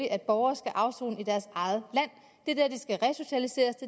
at borgere skal afsone i deres eget